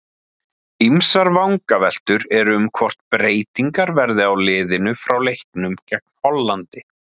Ýmsar vangaveltur eru um hvort breytingar verði á liðinu frá leiknum gegn Hollandi.